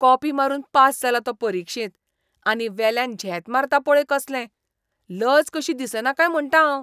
Copy मारून pass जाला तो परिक्षेंत. आनी वेल्यान झेत मारता पळय कसले. लज कशी दिसना काय म्हणटा हांव.